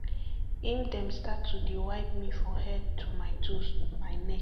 im dem start to dey wipe me for head to my toes my neck